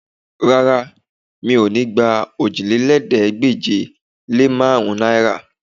Rárá, mi ò ní gba òjìlélẹ́ẹ̀ẹ́dégbèje-lé-márùn-ún náìrà